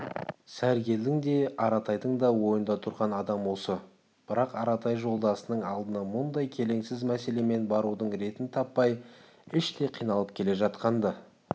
сәргелдің де аратайдың да ойында тұрған адам осы бірақ аратай жолдасының алдына мұндай келеңсіз мәселемен барудың ретін таппай іштей қиналып келе жатқан-ды